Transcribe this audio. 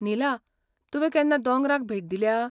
नीला, तुवें केन्ना दोंगराक भेट दिल्या?